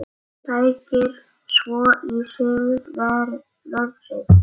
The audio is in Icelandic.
Sækir svo í sig veðrið.